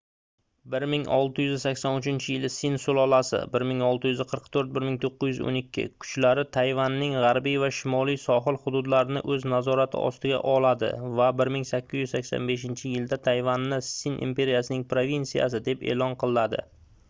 1683-yili sin sulolasi 1644–1912 kuchlari tayvanning g'arbiy va shimoliy sohil hududlarini o'z nazorati ostiga oladi va 1885-yilda tayvanni sin imperiyasining provinsiyasi deb e'lon qiladi